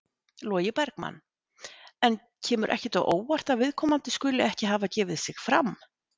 Logi Bergmann: En kemur ekkert á óvart að viðkomandi skuli ekki hafa gefið sig fram?